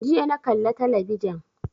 Jiya na kalla talabijan